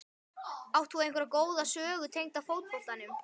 Átt þú einhverja góða sögu tengda fótboltanum?